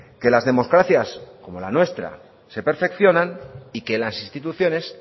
que las democracias como la nuestra se perfeccionan y que las instituciones